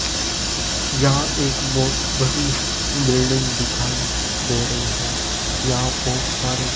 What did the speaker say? यहां एक बहोत बड़ी बिल्डिंग दिखाई दे रही है यहां बहोत सारे --